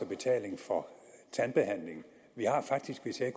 betaling for tandbehandling vi har faktisk hvis jeg